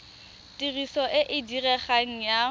tiriso e e diregang ya